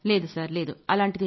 పూనమ్ నౌటియాలా లేదు లేదు సర్